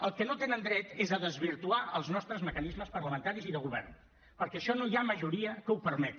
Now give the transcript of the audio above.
al que no tenen dret és a desvirtuar els nostres mecanismes parlamentaris i de govern perquè això no hi ha majoria que ho permeti